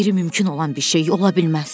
Qeyri-mümkün olan bir şey ola bilməz.